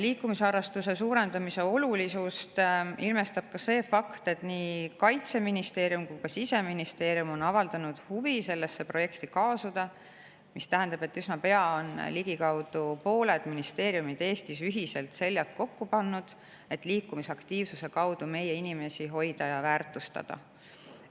Liikumisharrastuse olulisust ilmestab ka see fakt, et nii Kaitseministeerium kui ka Siseministeerium on avaldanud huvi selle projektiga kaasumise vastu, mis tähendab, et üsna pea on ligikaudu pooled ministeeriumid Eestis seljad kokku pannud, et liikumisaktiivsuse kaudu meie inimesi hoida ja väärtustada.